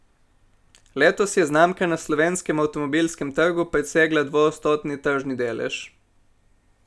Letos je znamka na slovenskem avtomobilskem trgu presegla dvoodstotni tržni delež.